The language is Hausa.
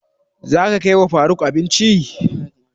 Za ka kai wa faruk abinci?